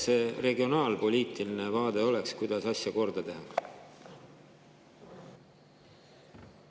Milline oleks regionaalpoliitiline vaade, kuidas asja korda teha?